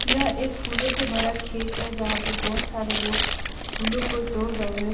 यह एक फूलो से भरा खेत है जहाँ पे बहोत सारे लोग फूलो को तोड़ रहे है।